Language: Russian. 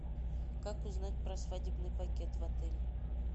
как узнать про свадебный пакет в отеле